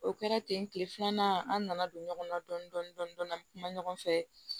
O kɛra ten kile filanan an nana don ɲɔgɔnna dɔɔni dɔɔni dɔɔni an be kuma ɲɔgɔn fɛ